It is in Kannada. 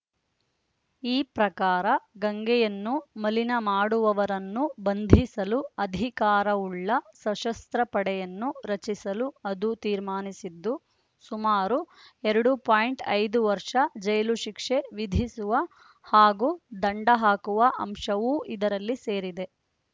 ಈ ಪ್ರಕಾರ ಗಂಗೆಯನ್ನು ಮಲಿನ ಮಾಡುವವರನ್ನು ಬಂಧಿಸಲು ಅಧಿಕಾರವುಳ್ಳ ಸಶಸ್ತ್ರ ಪಡೆಯನ್ನು ರಚಿಸಲು ಅದು ತೀರ್ಮಾನಿಸಿದ್ದು ಸುಮಾರು ಎರಡು ಪಾಯಿಂಟ್ ಐದು ವರ್ಷ ಜೈಲು ಶಿಕ್ಷೆ ವಿಧಿಸುವ ಹಾಗೂ ದಂಡ ಹಾಕುವ ಅಂಶವೂ ಇದರಲ್ಲಿ ಸೇರಿದೆ